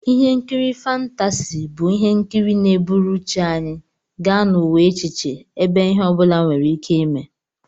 Ihe nkiri fántási bụ ihe nkiri na-eburu uche anyị gaa n'ụwa echiche, ebe ihe obula were Ike ime